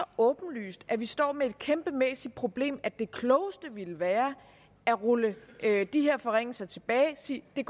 åbenlyst at vi står med et kæmpemæssigt problem at det klogeste ville være at rulle de her forringelser tilbage og sige at det